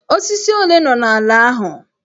Osisi ole nọ n'ala ahụ?